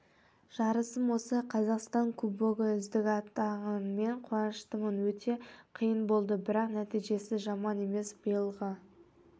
жарысым осы қазақстан кубогы үздік атанғаныма қуаныштымын өте қиын болды бірақ нәтижесі жаман емес биылға